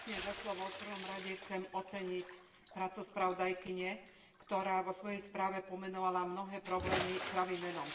V prvom rade chcem oceniť prácu spravodajkyne, ktorá vo svojej správe pomenovala mnohé problémy pravým menom.